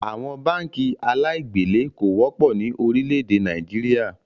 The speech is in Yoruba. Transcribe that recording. Àwọn báànkì aláì gbèlé kò wọ́pọ̀ ni Orílẹ̀ èdè Nàìjíríà